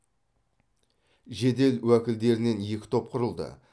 жедел уәкілдерінен екі топ құрылды